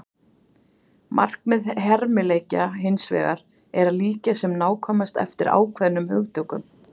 Markmið hermileikja hins vegar er að líkja sem nákvæmast eftir ákveðnum hugtökum.